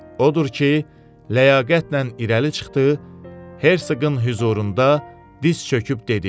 Odur ki, ləyaqətlə irəli çıxdı, herqoqın hüzurunda diz çöküb dedi: